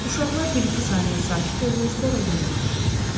Uşaqlar bir-iki saniyə sakit olur, sonra yenə ağlayırdı.